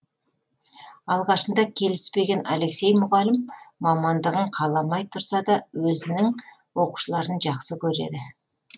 алғашында келіспеген алексей мұғалім мамандығын қаламай тұрса да өзінің оқушыларын жақсы көреді